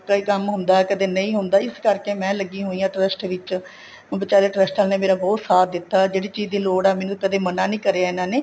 ਕਈ ਕੰਮ ਹੁੰਦਾ ਕਦੇਂ ਨਹੀਂ ਹੁੰਦਾ ਇਸ ਕਰਕੇ ਮੈਂ ਲੱਗੀ ਹੋਈ ਆ trust ਵਿੱਚ ਬੀਚਾਰੇ trust ਵਾਲੀਆਂ ਨੇ ਮੇਰਾ ਬਹੁਤ ਸਾਥ ਦਿੱਤਾ ਜਿਹੜੀ ਚੀਜ਼ ਦੀ ਲੋੜ ਹੈ ਮੈਨੂੰ ਕਦੇ ਮਨਾਂ ਨਹੀਂ ਕਰਿਆ ਇਹਨਾ ਨੇ